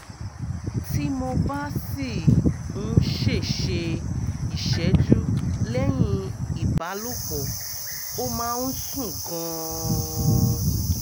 tí mo bá sì ń ṣe ṣe ìṣẹ́jú lẹ́yìn ìbálòpọ̀ ó máa ń sun gan-an